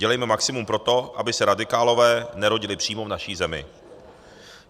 Dělejme maximum pro to, aby se radikálové nerodili přímo v naší zemi.